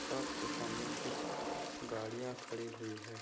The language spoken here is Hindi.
शाॅप के समाने कुछ गाडियाँ खड़ी हुई हैं।